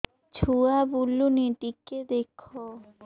ଛୁଆ ବୁଲୁନି ଟିକେ ଦେଖ